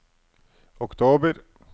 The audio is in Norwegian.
oktober